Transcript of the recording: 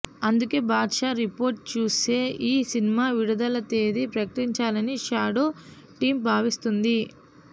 అందుకే Badshah report చూసే ఈ సినిమా విడుదల తేదీ ప్రకటించాలని షాడో టీమ్ భావిస్తోంది